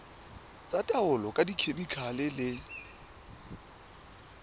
tsa taolo ka dikhemikhale le